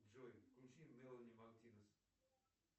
джой включи мелани мактинас